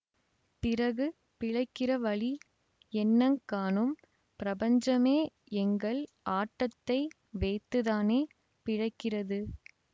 பிறகு பிழைக்கிற வழி என்னங்காணும் பிரபஞ்சமே எங்கள் ஆட்டத்தை வைத்துத்தானே பிழைக்கிறது